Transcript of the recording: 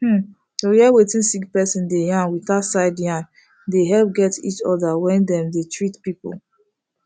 um to hear wetin sick person dey yarn without side yarn dey helep get each other when dem dey treat people